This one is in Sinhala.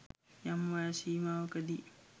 යම් වයස් සීමාවකදී